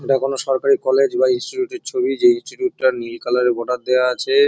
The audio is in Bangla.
এটা কোন সরকারি কলেজ বা ইনস্টিটিউট -এর ছবি। যে ইনস্টিটিউট -টা নীল কালার -এর বর্ডার দেওয়া আছে এ ।